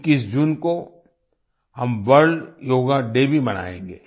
21 जून को हम वर्ल्ड योगा डे भी मनाएंगे